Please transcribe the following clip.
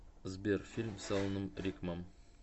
сбер фильм с аланом рикмам